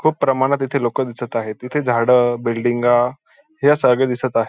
खूप प्रमाणात इथे लोक दिसत आहेत तिथे झाडं बिल्डिंगा हे सगळं दिसत आहे.